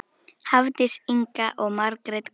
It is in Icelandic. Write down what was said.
Hafdís Inga og Margrét Gróa.